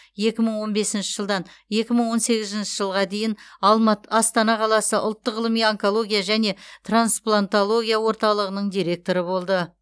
екі мың он бесінші жылдан екі мың он сегізінші жылға дейін алматы астана қаласы ұлттық ғылыми онкология және трансплантология орталығының директоры болды